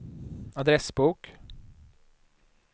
adressbok